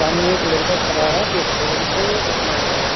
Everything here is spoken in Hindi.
सामने एक लड़का खड़ा है जो फोन से अपना --